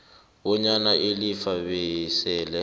bonyana ilifa besele